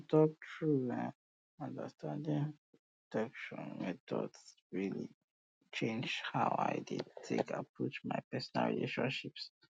to talk true eh understanding protection methods really change how i dey take approach my personal relationships